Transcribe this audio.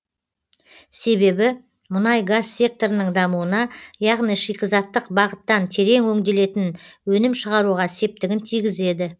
себебі мұнай газ секторының дамуына яғни шикізаттық бағыттан терең өңделетін өнім шығаруға септігін тигізеді